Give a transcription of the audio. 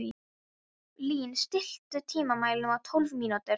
Lín, stilltu tímamælinn á tólf mínútur.